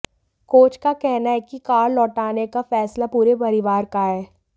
coach का कहना है कि कार लौटाने का फैसला पूरे परिवार का है